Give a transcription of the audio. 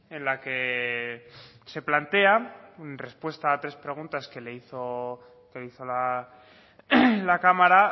en la que se plantea en respuesta a tres preguntas que le hizo la cámara